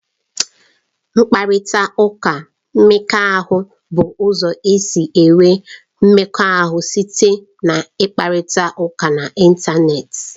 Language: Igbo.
Mkparịta ụka mmekọahụ bụ ụzọ e si enwe mmekọahụ site n'ịkparịta ụka n'Ịntanet.